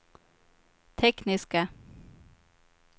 tekniska